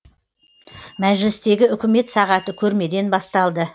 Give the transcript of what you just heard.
мәжілістегі үкімет сағаты көрмеден басталды